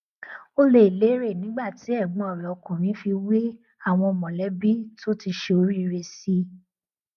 ó lé e léré nígbà tí ẹgbọn rẹ ọkùnrin fi wé àwọn mọlẹbí tó ti ṣe oríire sí i